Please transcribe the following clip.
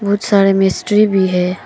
बहुत सारे मिस्त्री भी हैं।